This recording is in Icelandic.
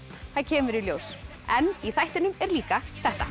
það kemur í ljós en í þættinum er líka þetta